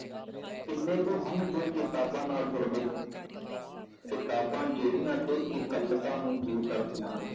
ਕਿੰਨੇ ਕੁ ਹਨ ਜੋ ਕਿਤਾਬਾਂ ਨਾਲ ਜੁੜਦੇ ਹਨ ਕਿਤਾਬਾਂ ਜਿਹੜੀਆਂ ਕਿ ਇਕੱਲਤਾ ਨੂੰ ਦੂਰ ਕਰਦੀਆਂ ਹਨ।